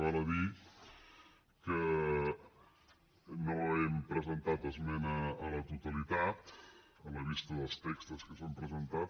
val a dir que no hem presentat esmena a la totalitat a la vista dels textos que s’han presentat